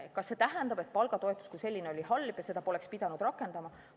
Kas see tähendab, et palgatoetus kui selline oli halb ja seda poleks pidanud rakendama?